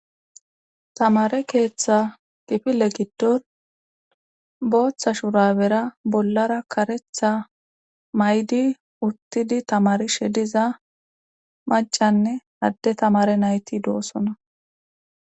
Tamare keeththa kifile giddon booththa shura bera bollara karetha maydi urtidi tamari shediza macanne adde tamare nayti doosona.